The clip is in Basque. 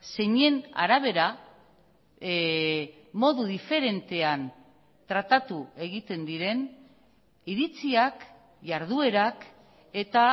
zeinen arabera modu diferentean tratatu egiten diren iritziak jarduerak eta